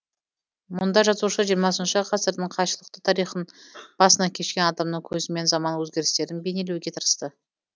мұнда жазушы жиырмасыншы ғасырдың қайшылықты тарихын басынан кешкен адамның көзімен заман өзгерістерін бейнелеуге тырысты